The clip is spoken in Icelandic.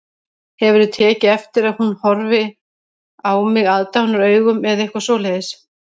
Hefurðu tekið eftir að hún horfi á mig aðdáunaraugum eða eitthvað svoleiðis